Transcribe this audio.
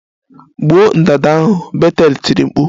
Gbuo ndanda ahụ! Betel tiri mkpu